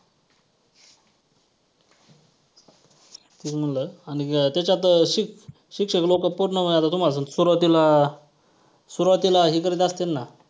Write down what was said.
तेच म्हंटल आणि त्याच्यात शिक्षक लोकं पूर्ण वेळ आता तुम्हाला सांगतो सुरवातीला सुरवातीला हे करत असतील ना.